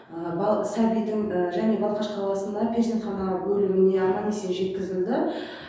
бала сәбидің және балқаш қаласында перзентхана бөліміне аман есен жеткізілді